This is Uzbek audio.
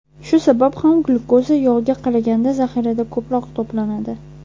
Shu sabab ham glyukoza yog‘ga qaraganda zaxirada ko‘proq to‘planadi.